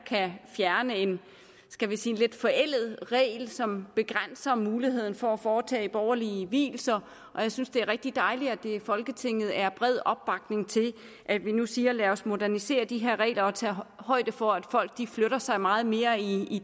kan fjerne en skal vi sige lidt forældet regel som begrænser muligheden for at foretage borgerlige vielser og jeg synes det er rigtig dejligt at der i folketinget er bred opbakning til at vi nu siger lad os modernisere de her regler og tage højde for at folk flytter sig meget mere i